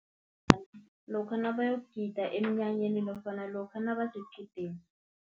Lokha nabayokugida emnyanyeni, nofana lokha nabasequdeni.